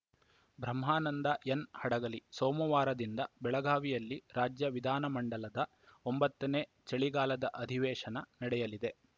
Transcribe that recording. ಬ್ರಹ್ಮಾನಂದ N Hadagali ಸೋಮವಾರದಿಂದ ಬೆಳಗಾವಿಯಲ್ಲಿ ರಾಜ್ಯ ವಿಧಾನಮಂಡಲದ ಒಂಬತ್ತನೇ ಚಳಿಗಾಲದ ಅಧಿವೇಶನ ನಡೆಯಲಿದೆ